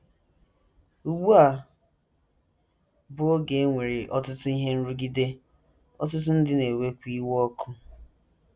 Ugbu a bụ oge e nwere ọtụtụ ihe nrụgide, ọtụtụ ndị na - ewekwa iwe ọkụ.